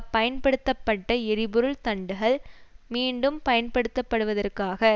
பயன்படுத்தப்பட்ட எரிபொருள் தண்டுகள் மீண்டும் பயன்படுத்தப்படுவதற்காக